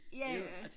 Ja ja